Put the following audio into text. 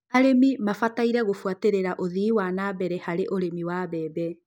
arĩmi mabataire gũbuatĩrĩra ũthii wa nabere harĩ ũrĩmi wa mbembe